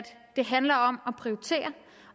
det handler om at prioritere